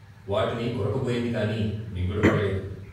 వాటిని కొరక బోయింది గాని మింగుడు పడలేదు.